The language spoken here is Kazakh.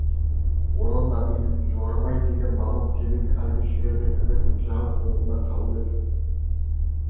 онан да менің жорабай деген балам сенің әлгі жүгермек інің жау қолында қалып еді